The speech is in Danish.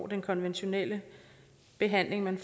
den konventionelle behandling man